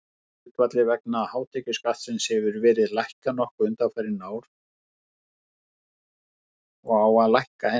Skatthlutfallið vegna hátekjuskattsins hefur verið lækkað nokkuð undanfarin ár og á að lækka enn.